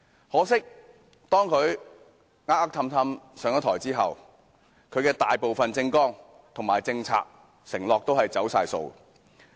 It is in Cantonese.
可惜，當他"呃呃氹氹"上台後，其大部分政綱、政策和承諾全都"走晒數"。